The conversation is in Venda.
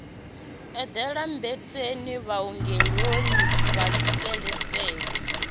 eḓela mmbeteni vhuongeloni ha tshiseluselu